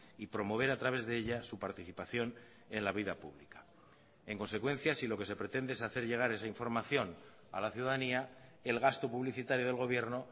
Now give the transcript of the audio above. y promover a través de ella su participación en la vida pública en consecuencia si lo que se pretende es hacer llegar esa información a la ciudadanía el gasto publicitario del gobierno